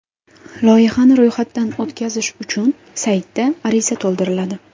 Loyihani ro‘yxatdan o‘tkazish uchun saytda ariza to‘ldiriladi.